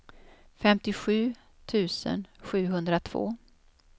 femtiosju tusen sjuhundratvå